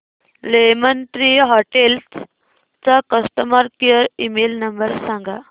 lemon Tree Hotels चा customer care email number सांगा